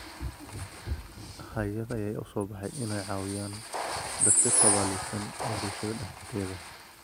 Hay’ado ayaa hadda u soo baxay inay caawiyaan dadka tabaalaysan ee bulshada dhexdeeda.